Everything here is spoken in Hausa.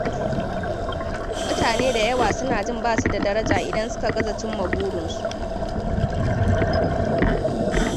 Mutane da yawa suna jin basu da daraja idan suka gaza cimma burinsu.